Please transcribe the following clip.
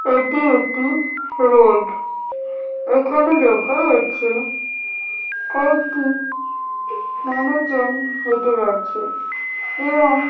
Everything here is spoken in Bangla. এটি একটি রোড এখানে দেখা যাচ্ছে কয়েকটি মানুষজন হেঁটে যাচ্ছে এবং--